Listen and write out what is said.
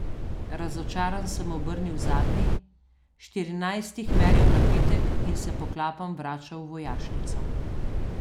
Razočaran sem obrnil zadnji, štirinajsti hmeljev napitek in se poklapan vračal v vojašnico.